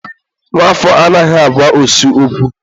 nwa afọ anaghị agwa osu okwu.